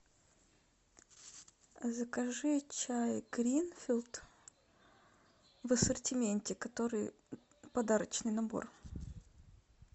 закажи чай гринфилд в ассортименте который подарочный набор